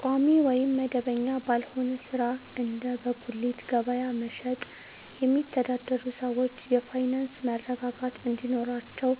ቋሚ ወይም መደበኛ ባልሆነ ሥራ (እንደ በጉሊት ገበያ መሸጥ) የሚተዳደሩ ሰዎች የፋይናንስ መረጋጋት እንዲኖራቸው